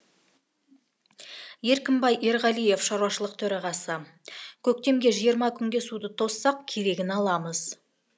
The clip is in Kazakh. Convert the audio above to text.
еркінбай ерғалиев шаруашылық төрағасы көктемге жиырма күнге суды тоссақ керегін аламыз